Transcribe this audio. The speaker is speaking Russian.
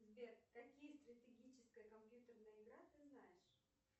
сбер какие стратегическая компьютерная игра ты знаешь